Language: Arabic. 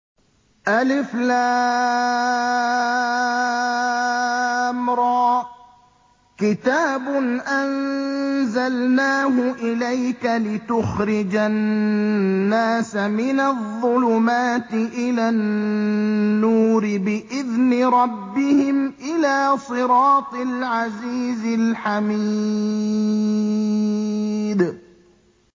الر ۚ كِتَابٌ أَنزَلْنَاهُ إِلَيْكَ لِتُخْرِجَ النَّاسَ مِنَ الظُّلُمَاتِ إِلَى النُّورِ بِإِذْنِ رَبِّهِمْ إِلَىٰ صِرَاطِ الْعَزِيزِ الْحَمِيدِ